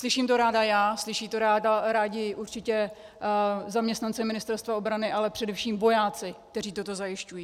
Slyším to ráda já, slyší to rádi určitě zaměstnanci Ministerstva obrany, ale především vojáci, kteří toto zajišťují.